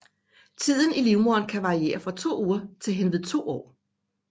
Tiden i livmoderen kan variere fra to uger til henved to år